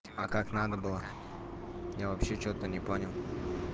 а как надо было я вообще что-то не понял